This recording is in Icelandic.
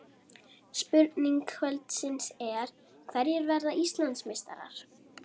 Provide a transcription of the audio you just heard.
Spurning kvöldsins er: Hverjir verða Íslandsmeistarar?